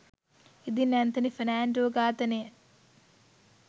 ඉදින් ඇන්තනි ෆර්නෑන්ඩෝ ඝාතනය